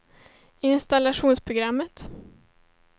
installationsprogrammet